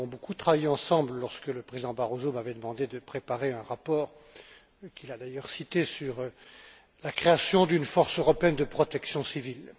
Nous avons beaucoup travaillé ensemble lorsque le président Barroso m'avait demandé de préparer un rapport, qu'il a d'ailleurs cité, sur la création d'une force européenne de protection civile.